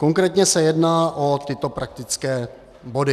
Konkrétně se jedná o tyto praktické body: